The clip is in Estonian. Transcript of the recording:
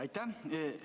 Aitäh!